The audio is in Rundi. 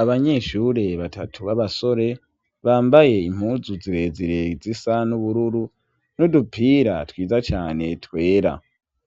Abanyeshure batatu b'abasore bambaye impuzu zirezire zisa n'ubururu n'udupira twiza cyane twera